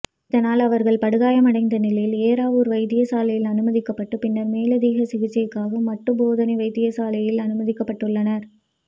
இதனால் அவர்கள் படுகாயமடைந்த நிலையில் ஏறாவூர் வைத்தியசாலையில் அனுமதிக்கப்பட்டு பின்னர் மேலதிக சிகிச்சைக்காக மட்டு போதனா வைத்தியசாலையில் அனுமதிக்கப்பட்டுள்ளனர்